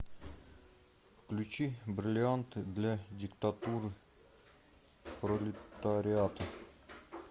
включи бриллианты для диктатуры пролетариата